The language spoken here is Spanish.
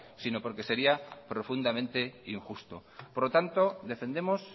sino porque sería profundamente injusto por lo tanto defendemos